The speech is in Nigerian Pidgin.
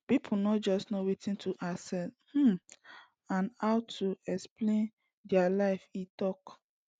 pipo no just know wetin to expect um and how to plan dia lives e tok